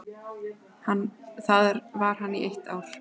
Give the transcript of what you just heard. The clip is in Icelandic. Þar var hann í eitt ár.